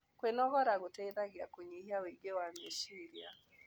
Kwĩnogora gũteĩthagĩa kũnyĩhĩa ũĩngĩ wa mechĩrĩa